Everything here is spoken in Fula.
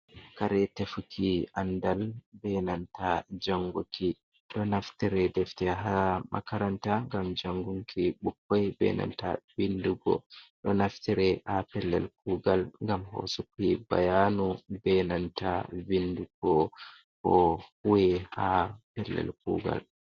Karetefuki andal benanta janguki, ɗo naftire defte ha makaranta gam jangunki bukkoi, benanta vindugo, ɗonaftire ha pellel kugal, gam hosuki bayanu, benanta vindugo ko huwi ha pellel kugal.